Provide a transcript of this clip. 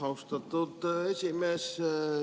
Austatud esimees!